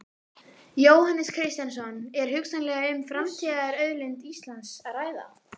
Jóhannes Kristjánsson: Er hugsanlega um framtíðarauðlind Íslands að ræða?